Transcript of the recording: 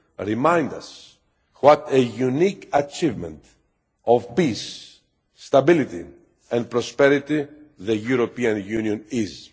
remind us what a unique achievement of peace, stability and prosperity the European Union is.